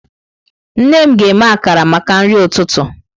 Nne m ga-eme akara maka nri ụtụtụ.